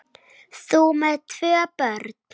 Þú með tvö börn!